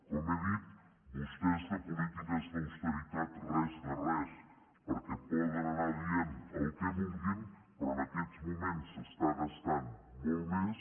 com he dit vostès de polítiques d’austeritat res de res perquè poden anar dient el que vulguin però en aquests moments s’està gastant molt més